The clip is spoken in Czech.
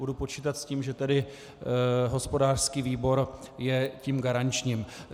Budu počítat s tím, že tedy hospodářský výbor je tím garančním.